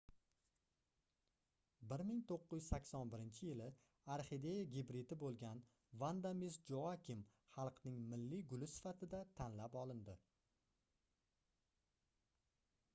1981-yili orxideya gibridi boʻlgan vanda miss joakim xalqning milliy guli sifatida tanlab olindi